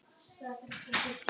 Á förnum vegi heima á